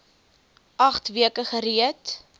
agt weke gereed